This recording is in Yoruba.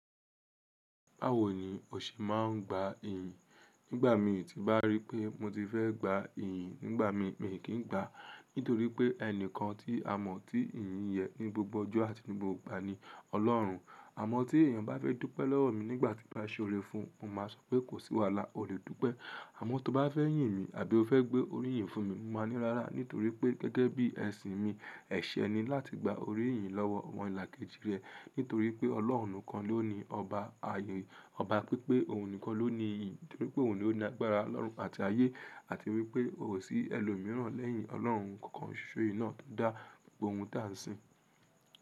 Bawo ni òse má a n gba eeyan. Nígbà mi ti ba ríi pé mo ti fẹ́ gba iyin nígbà mi, mi kì í gba, nítorí pé ẹni kan tí a mọ̀ tí iyìn yẹ ní gbogbo ọjọ́ àti ní gbogbo ìgbà ni Ọlọ́run. Àmọ́ tí èèyàn bá fẹ́ dúpẹ́ lọ́wọ́ mi nígbà tí bá se orẹ fún un, mo máa sọ pé kò sí wàhálà, o lè dúpẹ́. Àmọ́ tó bá fẹ́ yìn mi àbí o fẹ́ gbé orí yìn fún mi, mo máa ní rárá nítorí pé gẹ́gẹ́ bí ẹ̀sìn mi, ẹ̀ṣẹ̀ ni láti gba orí yìn lọ́wọ́ omo ìlà kejì rẹ, nítorí pé Ọlọ́run kan ló ni ọba ayé, ọba pípé, òun nìkan ló ní iyìn, nítorí pé òun ló ní agbára lọ́run àti ayé àti wípé ko sí ẹlòmíràn lẹ́yìn Ọlọ́run kankan ṣoso náà tó dá gbogbo ohun táa sí.